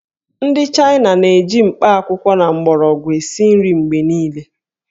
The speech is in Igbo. Ndị China na-eji mkpakwụkwọ na mgbọrọgwụ esi nri mgbe niile